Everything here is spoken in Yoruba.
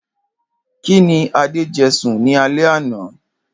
Kíni Adé je̩ sùn ní alé̩ àná?